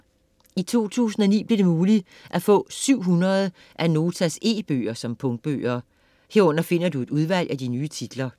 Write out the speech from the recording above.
I 2009 blev det muligt at få 700 af Notas e-bøger som punktbøger. Herunder finder du et udvalg af de nye titler.